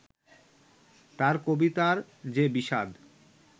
তাঁর কবিতার যে বিষাদ